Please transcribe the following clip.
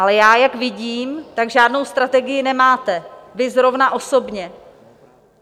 Ale já, jak vidím, tak žádnou strategii nemáte, vy, zrovna osobně.